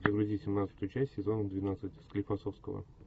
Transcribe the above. загрузи семнадцатую часть сезона двенадцать склифосовского